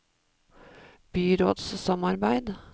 byrådssamarbeid